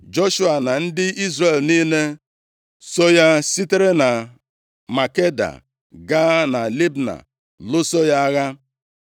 Joshua na ndị Izrel niile so ya sitere na Makeda gaa na Libna lụso ya agha.